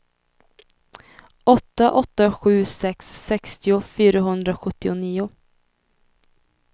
åtta åtta sju sex sextio fyrahundrasjuttionio